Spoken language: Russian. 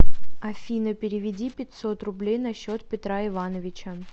афина переведи пятьсот рублей на счет петра ивановича